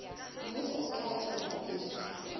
mmuso o tla tswela pele